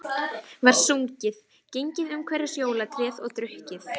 Var sungið, gengið umhverfis jólatréð og drukkið.